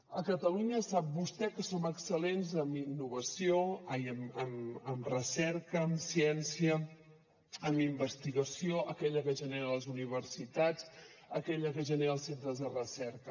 a catalunya sap vostè que som excel·lents en recerca en ciència en investigació aquella que generen les universitats aquella que generen els centres de recerca